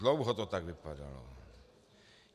Dlouho to tak vypadalo.